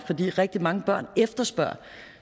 rigtig mange børn efterspørger